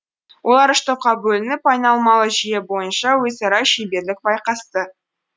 олар үш топқа бөлініп айналмалы жүйе бойынша өзара шеберлік байқасты